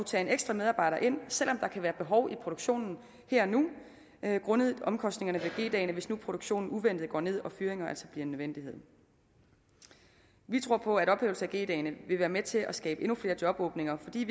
tage en ekstra medarbejder ind selv om der kan være behov i produktionen her og nu grundet omkostningerne ved g dagene hvis nu produktionen uventet går ned og fyringer altså en nødvendighed vi tror på at ophævelse af g dagene vil være med til at skabe endnu flere jobåbninger fordi